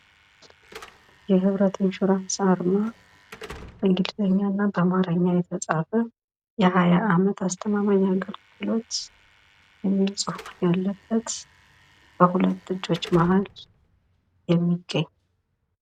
የህብረት ኢንሹራንስ አርማ እንግሊዝኛ እና አማርኛ የተጻፈ የሃያ አመት አስተማማኝ አገልግሎት የሚል ጽሑፍ ያለበት፤ በሁለት እጆች መካከል የሚገኝ ምስል ነው።